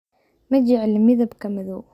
Ma jecli midabka madow.